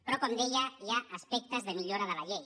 però com deia hi ha aspectes de millora de la llei